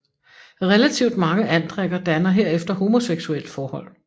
Relativt mange andrikker danner herefter homoseksuelle forhold